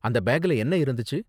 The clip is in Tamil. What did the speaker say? அந்த பேக்ல என்ன இருந்துச்சு?